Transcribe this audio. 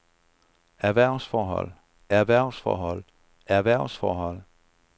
erhvervsforhold erhvervsforhold erhvervsforhold